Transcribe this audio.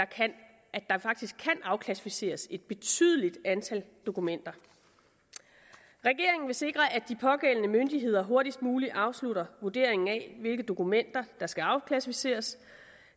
kan afklassificeres et betydeligt antal dokumenter regeringen vil sikre at de pågældende myndigheder hurtigst muligt afslutter vurderingen af hvilke dokumenter der skal afklassificeres